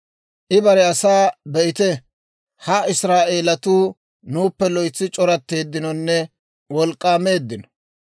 I bare asaa, «Be'ite; ha Israa'eelatuu nuuppe loytsi c'oratteeddinonne wolk'k'aameeddino.